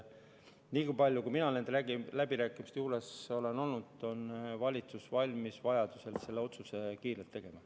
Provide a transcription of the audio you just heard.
Niipalju, kui mina nende läbirääkimiste juures olen olnud, võin öelda, et valitsus on valmis vajaduse korral selle otsuse kiirelt tegema.